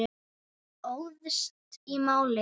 Óðst í málið.